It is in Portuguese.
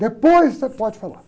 Depois você pode falar.